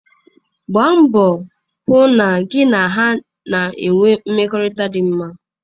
Gbaa mbọ hụ na gị na ha na-enwe mmekọrịta dị mma.